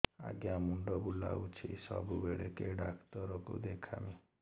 ଆଜ୍ଞା ମୁଣ୍ଡ ବୁଲାଉଛି ସବୁବେଳେ କେ ଡାକ୍ତର କୁ ଦେଖାମି